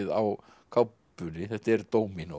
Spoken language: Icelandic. á kápunni þetta er